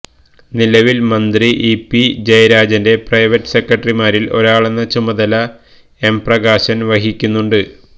നിലവില് മന്ത്രി ഇ പി ജയരാജന്റെ പ്രൈവറ്റ് സെക്രട്ടറിമാരില് ഒരാളെന്ന ചുമതല എം പ്രകാശന് വഹിക്കുന്നുണ്ട്്